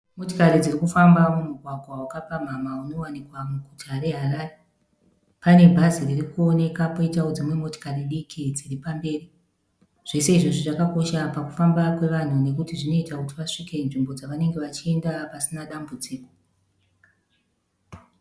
Motokari dzirikufamba mumugwagwa vakapamhamha unovanikwa muguta reHarare panebhazi ririkuoneka poitawo dzimwe motokari diki dziri pamberi zvose izvozvi zvakakosha pakufamba kwevanhu nekuti zvinoita kuti vasvike nzvimbo dzawarikuenda pasina dambudziko